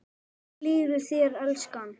Hvernig líður þér, elskan?